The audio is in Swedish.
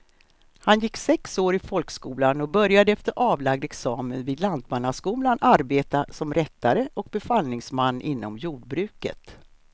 Han gick sex år i folkskolan och började efter avlagd examen vid lantmannaskolan arbeta som rättare och befallningsman inom jordbruket.